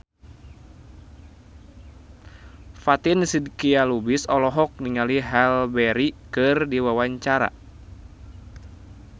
Fatin Shidqia Lubis olohok ningali Halle Berry keur diwawancara